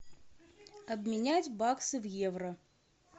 обменять баксы в евро